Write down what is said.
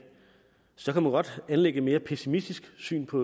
så kan man godt anlægge et mere pessimistisk syn på